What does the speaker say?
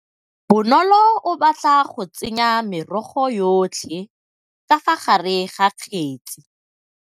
Bonôlô o batla go tsenya merogo yotlhê ka fa gare ga kgêtsi.